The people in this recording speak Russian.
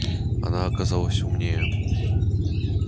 она оказалась умнее